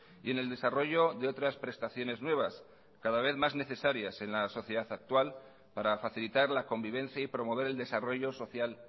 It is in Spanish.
y en el desarrollo de otras prestaciones nuevas cada vez más necesarias en la sociedad actual para facilitar la convivencia y promover el desarrollo social